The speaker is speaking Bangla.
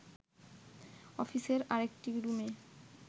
অফিসের আরেকটি রুমে